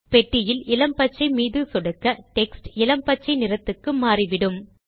பெட்டியில் இளம் பச்சை மீது சொடுக்க டெக்ஸ்ட் இளம் பச்சை நிறத்துக்கு மாறிவிடும்